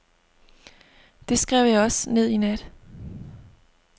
Det skrev jeg også ned i nat.